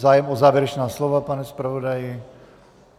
Zájem o závěrečná slova, pane zpravodaji?